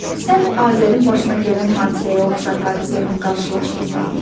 Sən Azərin başına gələn hadisəyə oxşar hadisə ilə qarşılaşmısan?